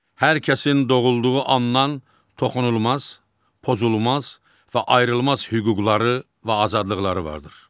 Hər kəsin doğulduğu andan toxunulmaz, pozulmaz və ayrılmaz hüquqları və azadlıqları vardır.